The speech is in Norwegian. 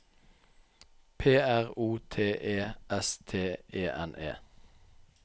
P R O T E S T E N E